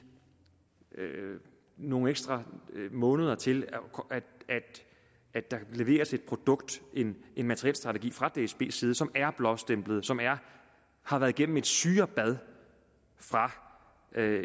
nogle ekstra måneder til at der kan leveres et produkt en materielstrategi fra dsbs side som er blåstemplet som har været igennem et syrebad fra